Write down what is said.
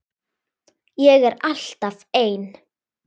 Ég er alltaf ein.